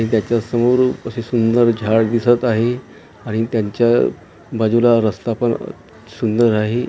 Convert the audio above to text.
त्याच्या समोर असे सुंदर असे झाड दिसत आहे आणि त्यांच्या बाजूला रस्ता पण सुंदर आहे.